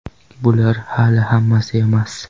Bular hali hammasi emas.